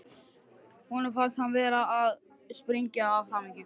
Honum fannst hann vera að springa af hamingju.